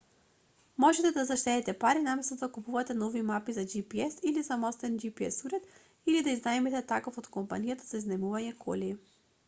можете да заштедите пари наместо да купувате нови мапи за gps или самостоен gps уред или да изнајмите таков од компанија за изнајмување коли